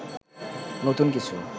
নতুন কিছু